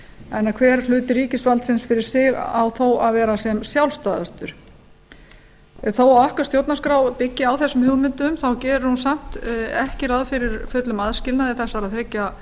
þannig að hver hluti ríkisvaldsins um sig á þó að vera sem sjálfstæðastur þó að okkar stjórnarskrá byggi á þessum hugmyndum þá gerir hún samt ekki ráð fyrir fullum aðskilnaði þessara þriggja